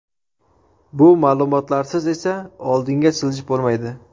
Bu ma’lumotlarsiz esa oldinga siljish bo‘lmaydi.